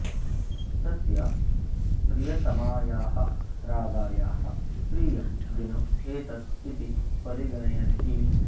तस्य प्रियतमायाः राधायाः प्रियं दिनम् एतत् इति परिगणयन्ति